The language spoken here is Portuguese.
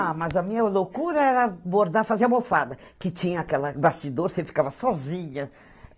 Ah, mas a minha loucura era bordar, fazer a almofada, que tinha aquela, bastidor, você ficava sozinha.